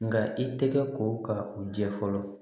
Nka i tɛgɛ ko ka u jɛ fɔlɔ